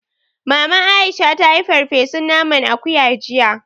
Maman Aisha ta yi farfesun naman akuya jiya